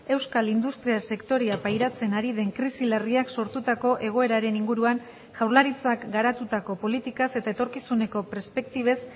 euskal industria sektorea pairatzen ari den krisi larriak sortutako egoeraren inguruan jaurlaritzak garatutako politikaz eta etorkizuneko perspektibez